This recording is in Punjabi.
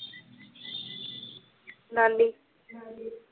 ਨਾਨੀ